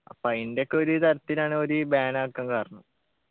അപ്പൊ അയിൻ്റെ ഒക്കെ ഒരു തരത്തിലാണ് ഒര് ban ആക്കാൻ കാരണം